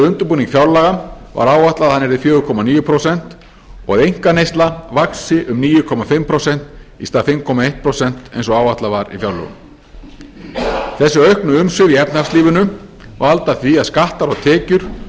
undirbúning fjárlaga var áætlað að hann yrði fjögurra komma níu prósent og einkaneysla vaxi um níu og hálft prósent í stað fimm komma eitt prósent eins og áætlað var í fjárlögum þessi auknu umsvif í efnahagslífinu valda því að skattar og tekjur